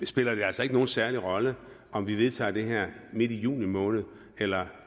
spiller det altså ikke nogen særlig rolle om vi vedtager det her midt i juni måned eller